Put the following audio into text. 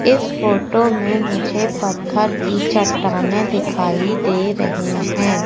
इस फोटो में मुझे पत्थर की चट्टानें दिखाई दे रही हैं।